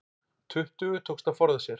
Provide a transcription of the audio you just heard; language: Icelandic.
Tuttugu tókst að forða sér